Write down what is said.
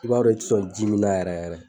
I b'a dɔn u ti sɔn ji min na yɛrɛ yɛrɛ.